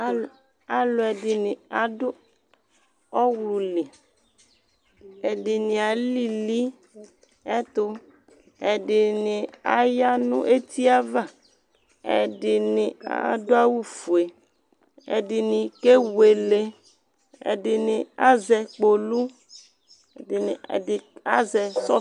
Alʊɛdiɲi adʊ ɔwlʊli Ɛdiɲi alili ɛtʊ Ɛdiɲɩ aya ɲʊ etiava Ɛdiɲi adʊawʊ ƒʊe Ɛdiɲi kewele Ɛdiɲi azɛ kpolu Ɛdɩɲɩ azɛ sɔƒie